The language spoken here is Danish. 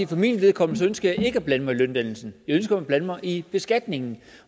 for mit vedkommende ønsker jeg ikke at blande mig i løndannelsen jeg ønsker at blande mig i beskatningen